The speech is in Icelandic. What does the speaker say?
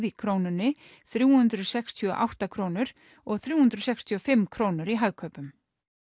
í Krónunni þrjú hundruð sextíu og átta krónur og þrjú hundruð sextíu og fimm krónur í Hagkaupum